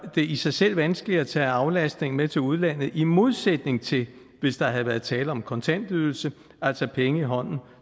det i sig selv vanskeligt at tage aflastningen med til udlandet i modsætning til hvis der havde været tale om en kontantydelse altså penge i hånden